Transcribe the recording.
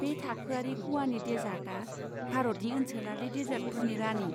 बे थाखोआरि ग'वानि देसार्टआ भारतनि ओनसोलारि देसार्टफोरनि रानि।